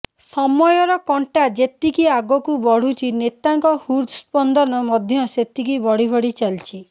ସମୟର କଣ୍ଟା ଯେତିକି ଆଗକୁ ବଢୁଛି ନେତାଙ୍କ ହୃଦସ୍ପନ୍ଦନ ମଧ୍ୟ ସେତିକି ବଢି ବଢି ଚାଲିଛି